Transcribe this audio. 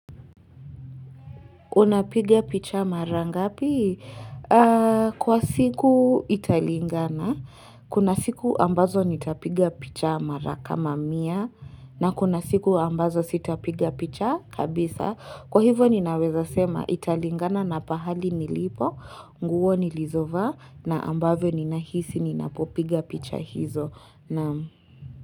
Unapiga picha mara ngapi? Kwa siku italingana, kuna siku ambazo nitapiga picha mara kama mia na kuna siku ambazo sitapiga picha kabisa. Kwa hivyo ninaweza sema italingana na pahali nilipo, nguo nilizovaa na ambavyo ninahisi ninapopiga picha hizo.